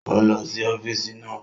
Ó ń lọ sí ọ́físì náà